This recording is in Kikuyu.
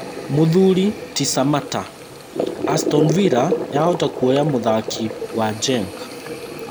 Mũthuri ti Samatta: Aston Villa yahota kuoya mũthaki wa Genk